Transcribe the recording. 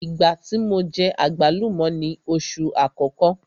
Ìgbá tí mo jẹ àgbálùmọ́ ni oṣù àkọ́kọ́.